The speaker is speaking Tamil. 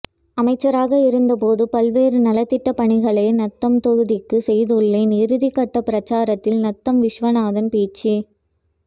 அமைச்சராக இருந்தபோது பல்வேறு நலத்திட்டப்பணிகளை நத்தம் தொகுதிக்கு செய்துள்ளேன் இறுதிக்கட்ட பிரசாரத்தில் நத்தம் விஸ்வநாதன் பேச்சு